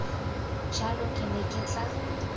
jalo ke ne ke tla